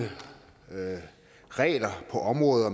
regler på området og